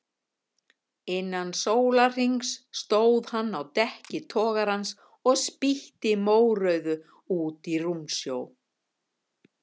Innan sólarhrings stóð hann á dekki togarans og spýtti mórauðu út í rúmsjó.